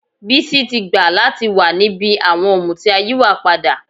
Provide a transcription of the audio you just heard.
Bísí ti gbà láti wà níbi àwọn ọ̀mùtí ayíwàpadà